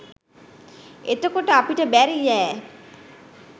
එතකොට අපිට බැරියෑ